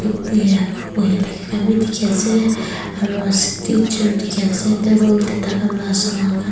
buhi thakia khan bi dikhi ase aru dikhi ase table te taikhan laka saman khan.